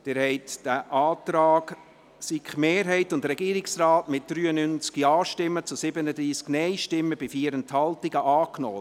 Sie haben den Antrag der SiK-Mehrheit und des Regierungsrates angenommen, mit 93 Ja- zu 37 Nein-Stimmen bei 4 Enthaltungen angenommen.